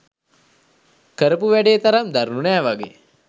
කරපු වැඩේ තරම් දරුණු නෑ වගේ